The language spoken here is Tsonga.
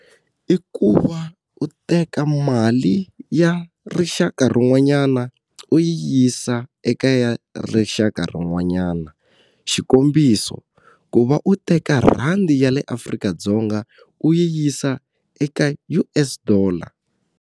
I ku va u teka mali ya rixaka rin'wanyana u yi yisa eka ya rixaka rin'wanyana. Xikombiso ku va u teka rhandi ya le Afrika-Dzonga u yi yisa eka U_S dollar.